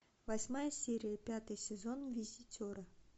восьмая серия пятый сезон визитеры